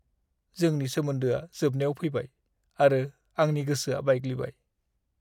जोंनि सोमोन्दोआ जोबनायाव फैबाय आरो आंनि गोसोआ बायग्लिबाय।